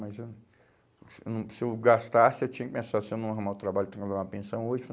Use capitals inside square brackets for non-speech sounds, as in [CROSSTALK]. Mas eh hum se eu não, se eu gastasse, eu tinha que pensar se eu não arrumar o trabalho, tenho que pagar uma pensão [UNINTELLIGIBLE]